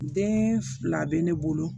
Den fila bɛ ne bolo